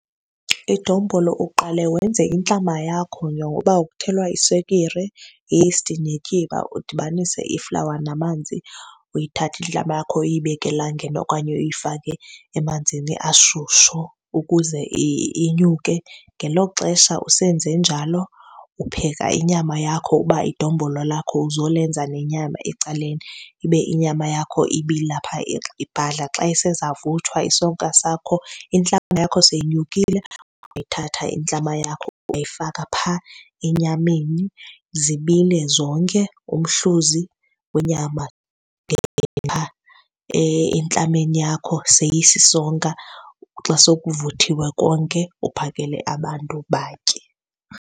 Idombolo uqale wenze intlama yakho yoba kuthelwa iswekire, iyisti netyiwa, udibanise iflawa namanzi. Uyithathe intlama yakho uyibeke elangeni okanye uyifake emanzini ashushu ukuze inyuke. Ngelo xesha usenze njalo upheka inyama yakho uba idombolo lakho uzolenza nenyama ecaleni, ibe inyama yakho ibila phaa, ibhadla. Xa isezawuvuthwa isonka sakho, intlama yakho seyinyukile, uyayithatha intlama yakho uyayifaka phaa enyameni zibile zonke, umhluzi wenyama phaa entlameni yakho seyisisonka. Xa sokuvuthiwe konke uphakele abantu batye.